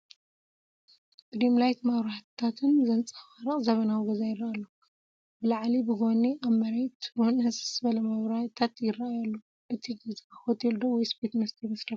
ብዲም ላይት መብራህትታት ዘንፀባርቕ ዘበናዊ ገዛ ይረአ ኣሎ፡፡ ብላዕሊ፣ ብጎን ኣብቲ መሬት ውን ህስስ ዝበለ መብራእቲታት ይራኣየሉ ኣሎ፡፡ እቲ ገዛ ሆቴል ዶ ወይስ ቤት መስተ ይመስለኩም?